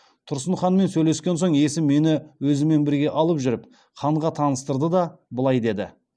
тұрсын ханмен сөйлескен соң есім мені өзімен бірге алып жүріп ханға таныстырды да былай деді